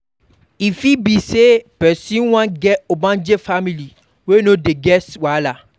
E fit be sey person wan get ogbonge family wey no dey get wahala